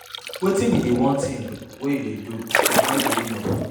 wetin be be di one thing you dey do to avoid giving up?